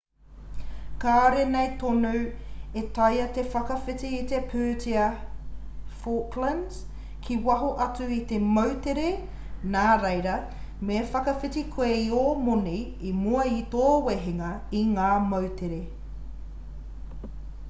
kāore nei tonu e taea te whakawhiti i te pūtea falklands ki waho atu o te moutere nā reira me whakawhiti koe i ō moni i mua i tō wehenga i ngā moutere